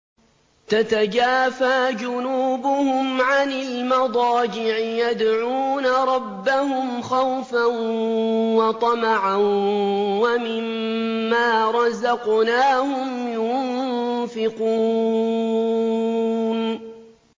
تَتَجَافَىٰ جُنُوبُهُمْ عَنِ الْمَضَاجِعِ يَدْعُونَ رَبَّهُمْ خَوْفًا وَطَمَعًا وَمِمَّا رَزَقْنَاهُمْ يُنفِقُونَ